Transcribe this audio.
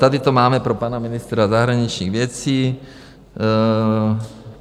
Tady to máme pro pana ministra zahraničních věcí.